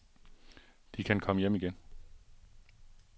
De kan komme hjem igen.